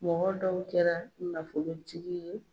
Mɔgɔ dɔw kɛra nafolotigi ye